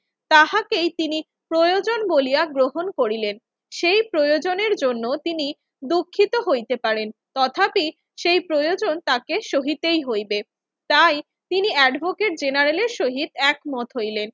তাহাকেই তিনি প্রয়োজন বলিয়া গ্রহণ করিলেন। সেই প্রয়োজনের জন্য তিনি দুঃখিত হইতে পারেন। তথাপি সেই প্রয়োজন তাকে সহিতেই হইবে। তাই তিনি এডভোকেট জেনারেলের সহিত একমত হইলেন।